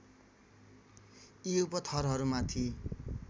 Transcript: यी उपथरहरू माथि